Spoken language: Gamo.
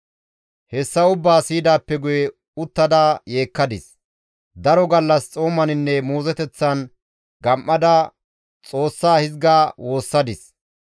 Hayssa ubbaa siyidaappe guye uttada yeekkadis; daro gallas xoomaninne muuzoteththan gam7ada Xoossaa hizga woossadis,